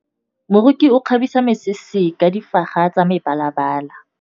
Moroki o kgabisa mesese ka difaga tsa mebalabala.